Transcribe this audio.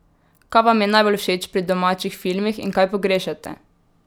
Kaj vam je najbolj všeč pri domačih filmih in kaj pogrešate?